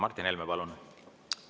Martin Helme, palun!